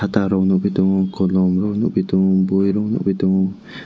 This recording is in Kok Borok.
da rok nogoi tango kolom rok nogpi tongo boi rok nogpi tongo.